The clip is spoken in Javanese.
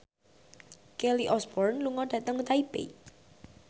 Kelly Osbourne lunga dhateng Taipei